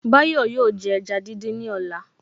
Báyọ̀ yóò jẹ ẹja dídín ní ọ̀la